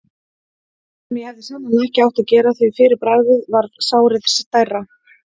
sem ég hefði sennilega ekki átt að gera, því fyrir bragðið varð sárið stærra.